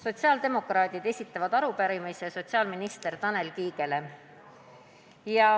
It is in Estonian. Sotsiaaldemokraadid esitavad arupärimise sotsiaalminister Tanel Kiigele.